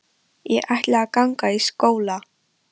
Ég ætla að ganga í skóla.